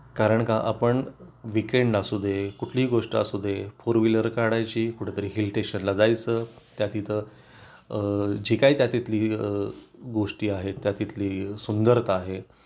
कारण का आपण वीकेंड आसू दे कुठली गोष्ट असू दे फोर व्हीलर काढायची कुठे तरी हिल स्टेशनला जायचं त्या तिथं जे काही त्या तिथली गोष्टी आहेत त्या तिथली सुंदर आहे ते आपण अनुभवायचा प्रयत्न करतो